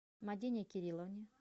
мадине кирилловне